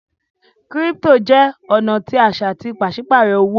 crypto jẹ ọna tí aṣa tí paṣipaarọ owo